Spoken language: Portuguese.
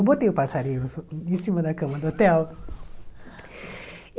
Eu botei o passarinho em cima da cama do hotel.